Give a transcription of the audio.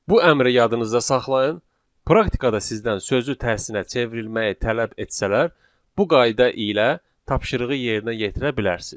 Bu əmri yadınızda saxlayın, praktikada sizdən sözü tərsinə çevrilməyi tələb etsələr, bu qayda ilə tapşırığı yerinə yetirə bilərsiniz.